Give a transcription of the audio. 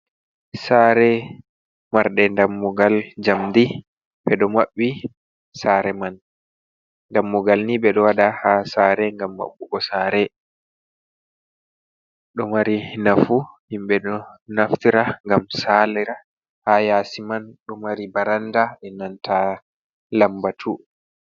Sare marde dammugal jamdi, ɓeɗo maɓɓi sare man dammugal ni ɓeɗo waɗa ha sare ngam maɓɓugo sare. Ɗo mari nafu, himɓe ɗo naftira ngam salira. Ha yasi man ɗo mari baranda e nanta lambatu.